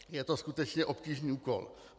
Je to skutečně obtížný úkol.